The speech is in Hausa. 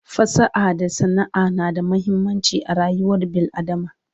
fasaha da sana'a na da muhimmanci a rayuwar bil adama